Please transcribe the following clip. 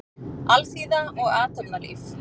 Alþýða og athafnalíf.